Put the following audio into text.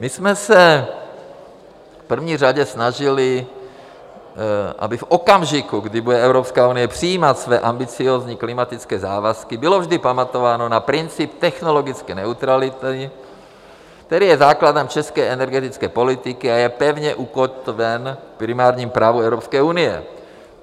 My jsme se v první řadě snažili, aby v okamžiku, kdy bude Evropská unie přijímat své ambiciózní klimatické závazky, bylo vždy pamatováno na princip technologické neutrality, který je základem české energetické politiky a je pevně ukotven v primárním právu Evropské unie.